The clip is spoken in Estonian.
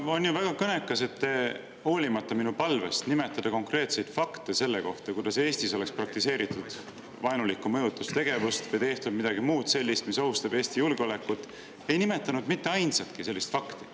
Jaa, on ju väga kõnekas, et hoolimata minu palvest nimetada konkreetseid fakte selle kohta, kuidas Eestis on praktiseeritud vaenulikku mõjutustegevust või tehtud midagi muud sellist, mis ohustab Eesti julgeolekut, ei nimetanud te mitte ainsatki sellist fakti.